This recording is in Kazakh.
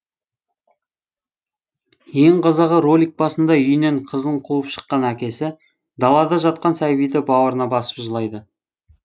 ең қызығы ролик басында үйінен қызын қуып шықан әкесі далада жатқан сәбиді бауырына басып жылайды